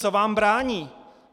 Co vám brání?